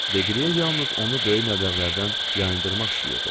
Deqliye yalnız onu böyük məbləğlərdən yayındırmaq istəyirdi.